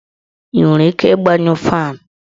I nwere ike ịgbayụ faanụ?